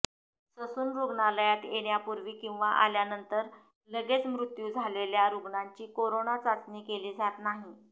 Sassoon रुग्णालयात येण्यापूर्वी किंवा आल्यानंतर लगेच मृत्यू झालेल्या रुग्णांची करोना चाचणी केली जात नाही